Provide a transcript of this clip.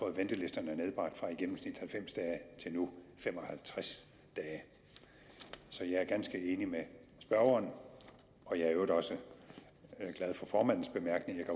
ventelisterne nedbragt fra i gennemsnit halvfems dage til nu fem og halvtreds dage så jeg er ganske enig med spørgeren og jeg er i øvrigt også glad for formandens bemærkning